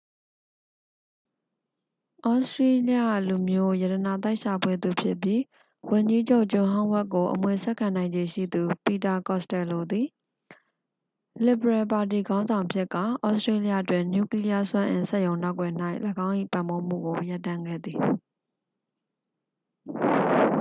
သြစတြေးလျလူမျိုး ရတနာသိုက်ရှာဖွေသူဖြစ်ပြီး ဝန်ကြီးချုပ် ဂျွန်ဟောင်းဝက်ကို အမွေဆက်ခံနိုင်ခြေရှိသူ ပီတာ ကော့စတယ်လိုသည် လစ်ဗရယ်ပါတီခေါင်းဆောင်ဖြစ်ကာ သြစတြေးလျတွင် နျူကလီးယား စွမ်းအင် စက်ရုံနောက်ကွယ်၌ ၎င်း၏ ပံ့ပိုးမှုကို ရပ်တန့်ခဲ့သည်